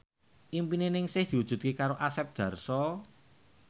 impine Ningsih diwujudke karo Asep Darso